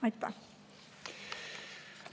Aitäh!